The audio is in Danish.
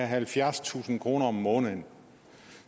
halvfjerdstusind kroner om måneden